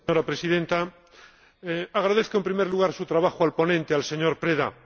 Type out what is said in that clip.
Señora Presidenta, agradezco, en primer lugar, su trabajo al ponente, el señor Preda.